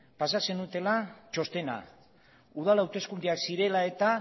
pasa zenutela txostena udal hauteskundeak zirela eta